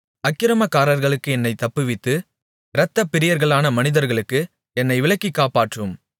அக்கிரமக்காரர்களுக்கு என்னைத் தப்புவித்து இரத்தப்பிரியர்களான மனிதர்களுக்கு என்னை விலக்கிக் காப்பாற்றும்